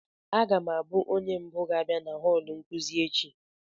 Aga m abụ onye mbụ ga-abịa na họọlụ nkuzi echi